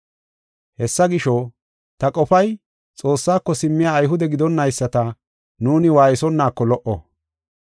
“Hessa gisho, ta qofay Xoossako simmiya Ayhude gidonnayisata nuuni waaysonaako lo77o.